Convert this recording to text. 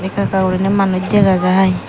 ekka ekka goriney manus degajai.